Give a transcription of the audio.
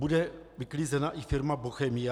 Bude vyklizena i firma Bochemie?